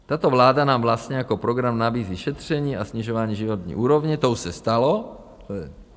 Tato vláda nám vlastně jako program nabízí šetření a snižování životní úrovně - to už se stalo.